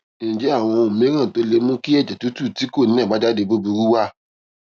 ǹjé àwọn ohun mìíràn tó lè mú kí èjè tútù tí kò ní àbájáde búburú wà